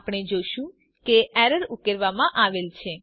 આપણે જોશું કે એરર ઉકેલવામાં આવેલ છે